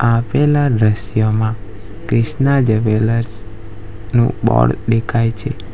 આપેલા દ્રશ્યમાં ક્રિષ્ના જ્વેલર્સ નું બોર્ડ દેખાય છે.